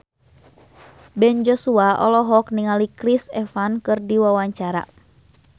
Ben Joshua olohok ningali Chris Evans keur diwawancara